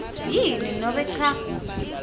yini nobe cha